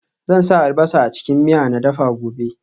Zan sa albasa a cikin miya na dafa gobe